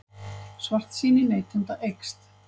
Svartsýni neytenda eykst